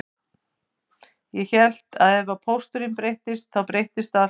Ég hélt að ef pósturinn breyttist þá breyttist allt